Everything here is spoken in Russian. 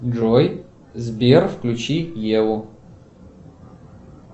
джой сбер включи еву